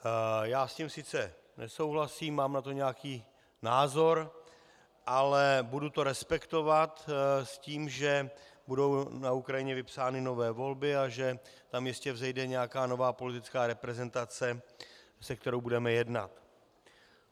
Já s tím sice nesouhlasím, mám na to nějaký názor, ale budu to respektovat s tím, že budou na Ukrajině vypsány nové volby a že tam jistě vzejde nějaká nová politická reprezentace, se kterou budeme jednat.